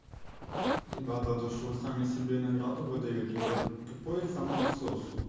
у тебя то то что вы сами себе награды выдаёте это тупой самоотсос